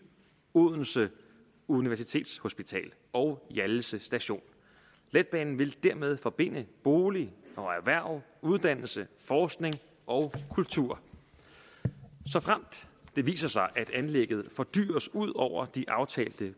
odense universitetshospital og hjallese station letbanen vil dermed forbinde bolig erhverv uddannelse forskning og kultur såfremt det viser sig at anlægget fordyres ud over de aftalte